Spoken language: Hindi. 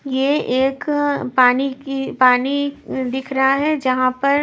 ये एक पानी की पानी दिख रहा है जहां पर--